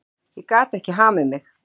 Ég gat ekki hamið mig.